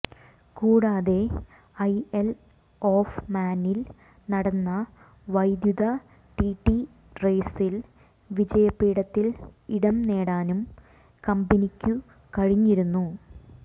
കൂടാതെ isle of മാനിൽ നടന്ന വൈദ്യുത ടി ടി റേസിൽ വിജയപീഠത്തിൽ ഇടംനേടാനും കമ്പനിക്കു കഴിഞ്ഞിരുന്നു